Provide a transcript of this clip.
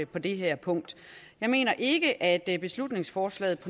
på det her punkt jeg mener ikke at beslutningsforslaget